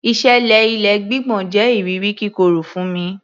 Ìṣẹ̀lẹ̀ ilé gbígbọ̀n jẹ iriri kíkorò fún mi